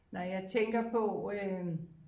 Når jeg tænker på øh